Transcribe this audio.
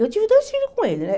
Eu tive dois filhos com ele, né?